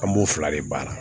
An b'o fila de baara